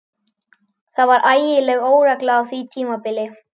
Það var ægileg óregla á því tímabili.